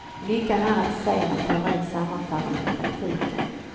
Lyckan är att se när teorin sammanfaller med praktiken.